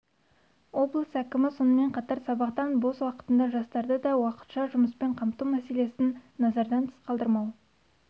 облыс әкімі сонымен қатар сабақтан бос уақытында жастарды да уақытша жұмыспен қамту мәселесін назардан тыс қалдырмау